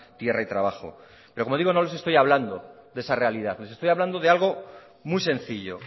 tierra y trabajo pero como digo no les estoy hablando de esa realidad les estoy hablando de algo muy sencillo